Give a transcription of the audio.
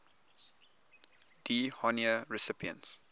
d honneur recipients